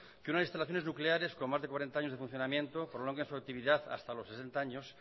que unas instalaciones nucleares con más de cuarenta años de funcionamiento prolonguen su actividad hasta los sesenta años